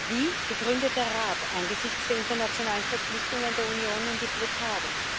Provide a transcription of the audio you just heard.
Wie begründet der Rat angesichts der internationalen Verpflichtungen der Union nun die Blockade?